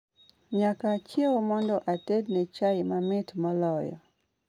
Nyaka achiew mondo atedne chai mamit moloyo.